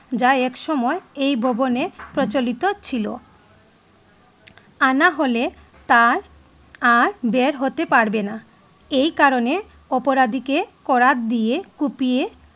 যা এক সময় এই ভবনে প্রচলিত ছিল আনা হলে তার আর বের হতে পারবে না এই কারণে অপরাধীকে করাত দিয়ে কুপিয়ে